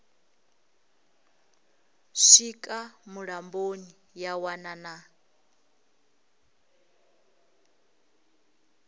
swika mulamboni ya wana na